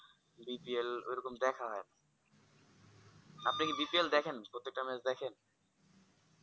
BPL এই রকম দেখে হয় না আপনি কি BPL দেখেন প্রত্যেক টা match এদেখান